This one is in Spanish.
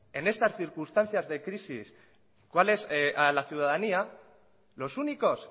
en estas circunstancia de crisis a la ciudadanía los únicos